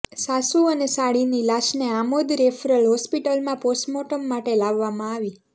સાસુ અને સાળીની લાશને આમોદ રેફરલ હોસ્પિટલમાં પોસ્ટમોર્ટમ માટે લાવવામાં આવી